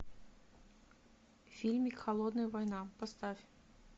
фильмик холодная война поставь